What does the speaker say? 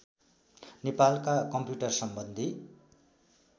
नेपालका कम्प्युटर सम्बन्धि